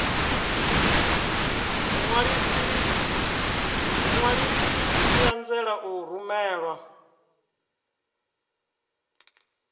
muṅwalisi i anzela u rumela